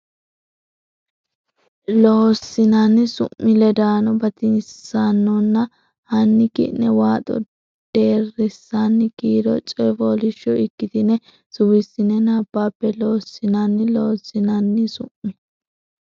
Loossinanni Su mi ledaano batinyisaanonna hanni ki ne waaxo deerrisaano kiiro coy fooliishsho ikktine suwissine nabbabbe Loossinanni Loossinanni Su mi.